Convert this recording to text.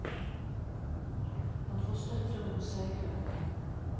Han får støtte rundt seg i køen.